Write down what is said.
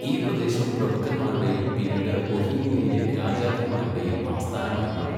ഈ പ്രദേശം പ്രഭുക്കന്മാരുടെയും പിന്നീട് ബൊഹീമിയയിലെ രാജാക്കന്മാരുടെയും ആസ്ഥാനമായി മാറി.